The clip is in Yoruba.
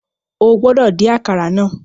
O gbọdọ din àkàrà náà